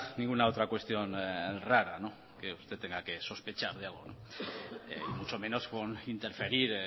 ninguna otra cuestión rara que usted tenga que sospechar de algo y mucho menos con interferir